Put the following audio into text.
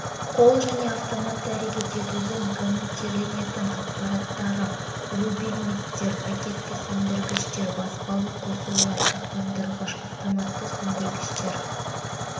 қол және автоматты әрекет етудің коммутирленетін аппараттары рубильниктер пакетті сөндіргіштер баспалы қосулар сақтандырғыштар автоматты сөндіргіштер